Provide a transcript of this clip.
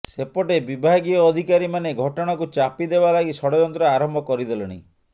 ସେପଟେ ବିଭାଗୀୟ ଅଧିକାରୀମାନେ ଘଟଣାକୁ ଚାପି ଦେବା ଲାଗି ଷଡ଼ଯନ୍ତ୍ର ଆରମ୍ଭ କରିଦେଲେଣି